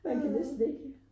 Jeg kan næsten ikke